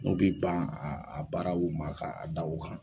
N'u bi ban a a baaraw ma ka da o kan